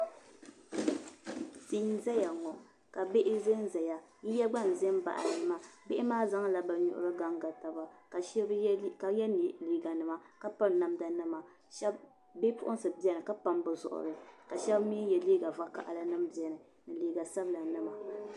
Tii n zaya ŋɔ ka bihi zanzaya yiya gba n za baɣili maa bihi maa zaŋla bɛ nuhi n ganga taba ka yɛ liiganima ka piri namdanima bipuɣinsi beni ka pam bɛ zuɣuri ka shɛb mi yɛ liiga vakahilinima beni ni liiga sabilanima